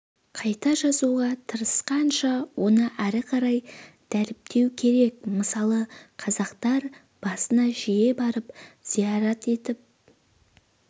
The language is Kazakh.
қайта жазуға тырысқанша оны ары қарай дәріптеу керек мысалы қазақтар басына жиі барып зиярат етіп